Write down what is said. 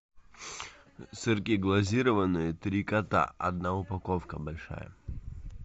сырки глазированные три кота одна упаковка большая